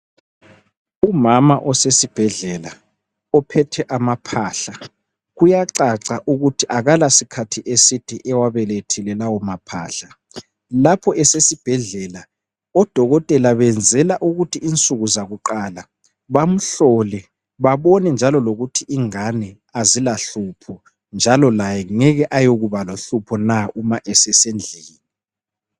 Umama osesibhedlela, ophethe amaphahla, kuyacaca ukuthi akalasikhathi eside ewabelethile lawo maphahla. Lapho esesibhedlela, odokotela benzela ukuthi insuku zakuqala bamhlole, babone njalo lokuthi ingane azilahlupho njalo laye ngeke ayekuba lohlupho na nxa esesendlini.